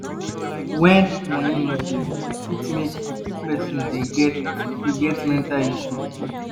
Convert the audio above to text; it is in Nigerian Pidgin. When money no dey e fit make person dey get mental health issue